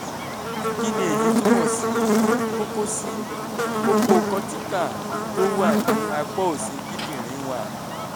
kí ni èyí túmọ̀ sí? kókó sí? kókó cortical tó wà ní apá òsì kíndìnrín one